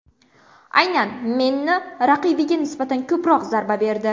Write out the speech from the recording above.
Aynan Menni raqibiga nisbatan ko‘proq zarba berdi.